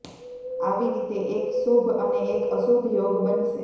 આવી રીતે એક શુભ અને એક અશુભ યોગ બનશે